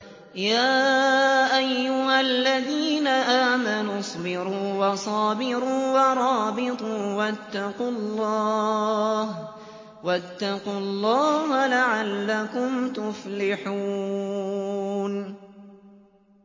يَا أَيُّهَا الَّذِينَ آمَنُوا اصْبِرُوا وَصَابِرُوا وَرَابِطُوا وَاتَّقُوا اللَّهَ لَعَلَّكُمْ تُفْلِحُونَ